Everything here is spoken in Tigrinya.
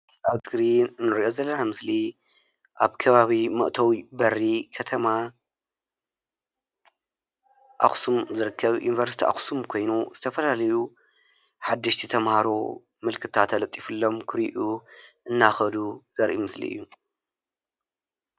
ኣብ እስክሪን እንሪኦ ዘለና ምስሊ ኣብ ከባቢ መእተዊ በሪ ከተማ ኣክሱም ዝርከብ ዩኒቨርስቲ ኣክሱም ኮይኑ ዝተፈላለዩ ሓደሽቲ ተማሃሮ ምልክታ ተለጢፍሎም ክሪኡ እናከዱ ዘርኢ ምስሊ እዩ፡፡